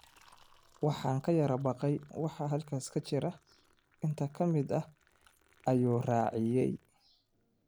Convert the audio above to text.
Waxaan ka yara baqayay waxa halkaas ka jira, intee ka mid ah, ayuu raaciyay.